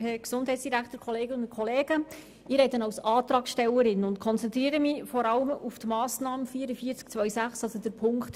Ich spreche als Antragstellerin und konzentriere mich vor allem auf die Massnahme 44.2.6, also auf Ziffer 3.